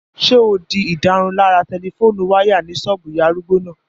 Ṣé o di ìdárunlárà tẹlifóònù wáyà ní ṣọ́ọ̀bù ìyá arúgbó náà?